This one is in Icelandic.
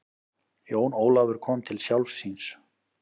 Jón Ólafur kom til sjálfs sín.